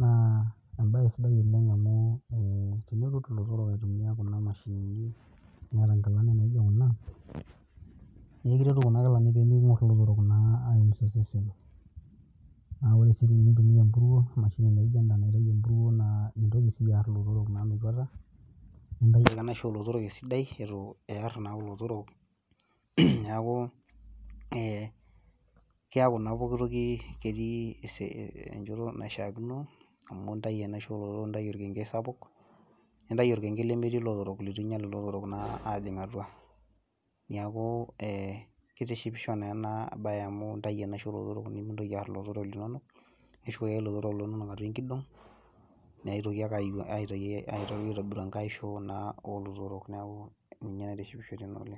naa embae sidai oleng' amu tenitur ilotorok aitumiya kuna mashinini niata inkilani naijo kuna, naa ekiretu kuna kilani peekinkor ilotorok naa aiumisa osesen. Naa ore sii tenintumiya emburuo emashini naijo enda naitayu emburuo naa mintoki siyie aar ilotorok metuata, nintayu ake enaisho oolotorok esidai eitu iyar naa kulo otorok neeku ee keeku naa ketii pookitoki enjoto naishaakino, amu intayu enaisho oolotorok nintayu olkenkenkei sapuk, nintayu olkenkenkei lemetii ilotorok leitu inyiala anyial ilotorok ajing naa atua. Neeku eebetishipisho naa ena bae amu intayu enaisho oolotorok nikintoki aar ilotorok linono, nishukoki ake ilotorok linono atua enkidung neitoki ake aitobiru enkae aisho naa oolotorok, neeku ninye naitishipisho tena woji oleng'.